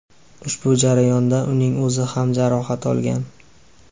Ushbu jarayonda uning o‘zi ham jarohat olgan.